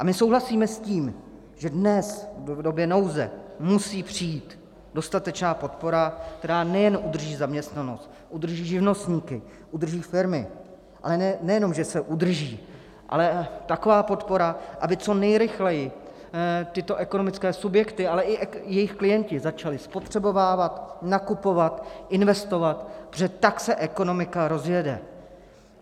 A my souhlasíme s tím, že dnes v době nouze musí přijít dostatečná podpora, která nejen udrží zaměstnanost, udrží živnostníky, udrží firmy, ale nejenom že se udrží, ale taková podpora, aby co nejrychleji tyto ekonomické subjekty, ale i jejich klienti začali spotřebovávat, nakupovat, investovat, protože tak se ekonomika rozjede.